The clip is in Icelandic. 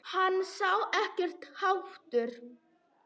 Hann sá ekkert hatur.